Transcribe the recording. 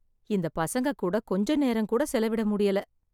இந்த பசங்க கூட கொஞ்ச நேரம் கூட செலவிட முடியல